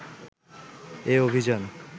এ অভিযান